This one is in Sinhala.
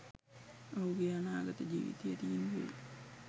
ඔහුගේ අනාගත ජීවිතය තීන්දු වෙයි